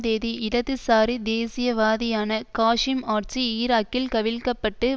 தேதி இடதுசாரி தேசியவாதியான காசிம் ஆட்சி ஈராக்கில் கவிழ்க்கப்பட்டு